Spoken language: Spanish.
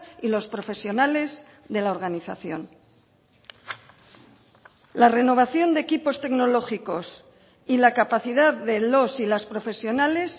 y los profesionales de la organización la renovación de equipos tecnológicos y la capacidad de los y las profesionales